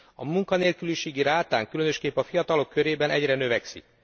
A munkanélküliségi rátánk, különösképpen a fiatalok körében egyre növekszik.